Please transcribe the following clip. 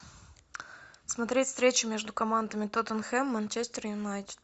смотреть встречу между командами тоттенхэм манчестер юнайтед